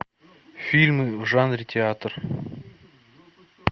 фильмы в жанре театр